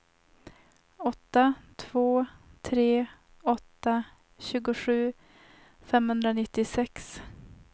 åtta två tre åtta tjugosju femhundranittiosex